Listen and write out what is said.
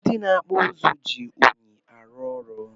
Ndi na akpụ ụzụ ji unyi arụ ọrụ.